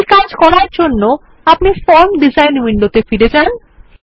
এই কাজ করার জন্য আপনি ফর্ম ডিজাইন উইন্ডোতে ফিরে যান